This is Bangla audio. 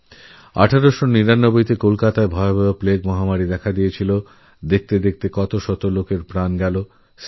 ১৮৯৯ সালেকলকাতা মহানগরীতে মারাত্মক প্লেগের প্রাদুর্ভাবে দেখতে দেখতে শয়ে শয়ে মানুষমৃত্যুর কোলে ঢলে পড়েন